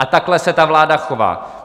A takhle se ta vláda chová.